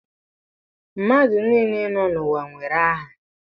Mmadụ niile nọ n'ụwa nwere aha